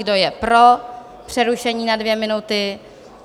Kdo je pro přerušení na dvě minuty?